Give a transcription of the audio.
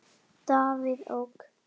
Davíð OK.